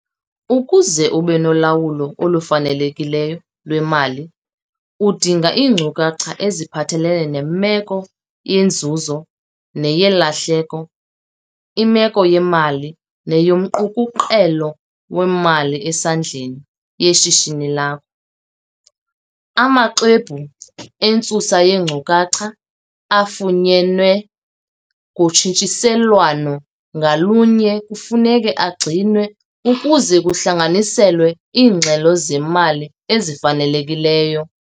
Ukuze ube nolawulo olufanelekileyo lwemali udinga iinkcukacha eziphathelene nemeko yenzuzo, neyelahleko, imeko yemali neyomqukuqelo wemali esesandleni yeshishini lakho. Amaxwebhu entsusa yeenkcukacha afunyenwe ngotshintshiselwano ngalunye kufuneka agcinwe ukuze kuhlanganiselwe iingxelo zemali ezifanelekileyo.